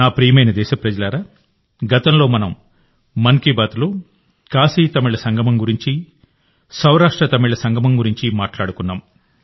నా ప్రియమైన దేశప్రజలారా గతంలో మనం మన్ కీ బాత్లో కాశీతమిళ సంగమం గురించి సౌరాష్ట్రతమిళ సంగమం గురించి మాట్లాడుకున్నాం